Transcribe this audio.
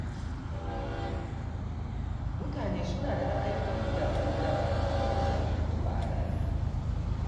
Mutane suna da ra’ayoyi daban-daban kan wasu batutuwa a rayuwa.